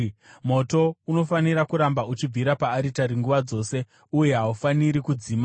Moto unofanira kuramba uchibvira paaritari nguva dzose; uye haufaniri kudzima.